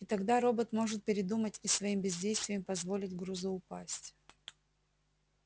и тогда робот может передумать и своим бездействием позволить грузу упасть